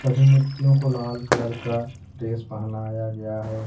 यह मूर्तियों को लाल कलर का ड्रेस पहनाया गया है।